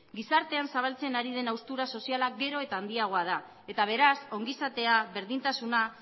gizartean zabaltzen ari den haustura soziala gero eta handiagoa da eta beraz ongizatea berdintasuna